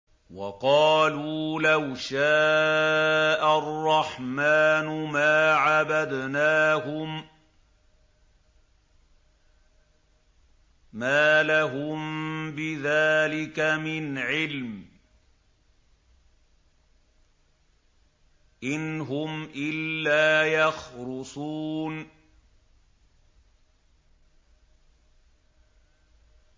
وَقَالُوا لَوْ شَاءَ الرَّحْمَٰنُ مَا عَبَدْنَاهُم ۗ مَّا لَهُم بِذَٰلِكَ مِنْ عِلْمٍ ۖ إِنْ هُمْ إِلَّا يَخْرُصُونَ